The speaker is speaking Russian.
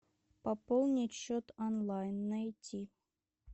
пополнить счет онлайн найти